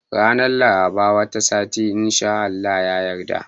Ranar Larabar wata sati in Allah ya yarda